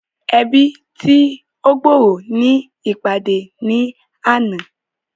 Ẹbi tí o gb'ọrọ ní ìpàdé ní àna